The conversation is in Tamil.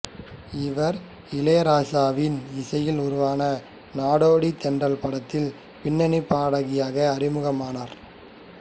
இவர் இளையராசாவின் இசையில் உருவான நாடோடித் தென்றல் படத்தில் பின்னணிப் பாடகியாக அறிமுகமானார்